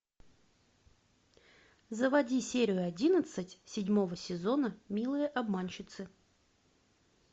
заводи серию одиннадцать седьмого сезона милые обманщицы